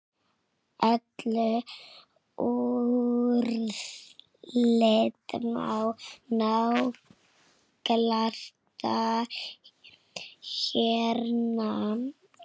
Öll úrslit má nálgast hérna.